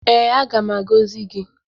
Ee, aga m agọzi gị.